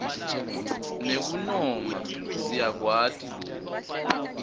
nekunoma siyakwati loku